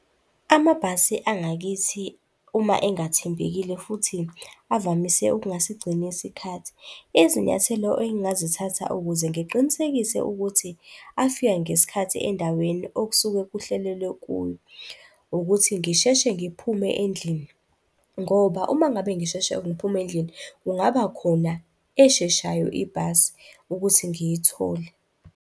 Amabhasi angakithi uma engathembekile futhi avamise ukungasigcini isikhathi. Izinyathelo engingazithatha ukuze ngiqinisekise ukuthi afika ngesikhathi endaweni okusuke kuhlelelelwa kuyo ukuthi ngisheshe ngiphume endlini ngoba uma ngabe ngisheshe ngiphume endlini, kungaba khona esheshayo ibhasi ukuthi ngiyithole.